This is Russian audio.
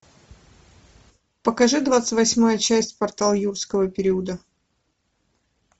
покажи двадцать восьмая часть портал юрского периода